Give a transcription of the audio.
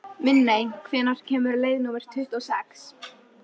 Minney, hvenær kemur leið númer tuttugu og sex?